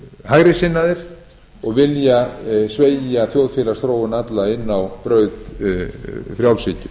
hægri sinnaðir og vilja sveigja þjóðfélagsþróun alla inn á braut frjálshyggju